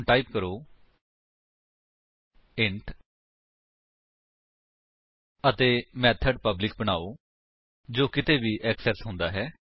ਹੁਣ ਟਾਈਪ ਕਰੋ ਇੰਟ ਅਤੇ ਮੇਥਡ ਪਬਲਿਕ ਬਨਾਓ ਜੋ ਕਿਤੇ ਵੀ ਐਕਸੇਸ ਹੁੰਦਾ ਹੈ